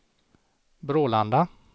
Brålanda